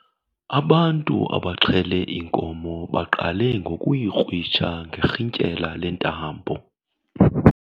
Ubantu abaxhele inkomo baqale ngokuyikrwitsha ngerhintyela lentambo.